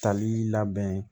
Tali labɛn